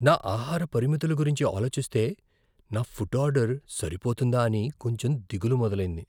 నా ఆహార పరిమితుల గురించి ఆలోచిస్తే, నా ఫుడ్ ఆర్డర్ సరిపోతుందా అని కొంచెం దిగులు మొదలైంది.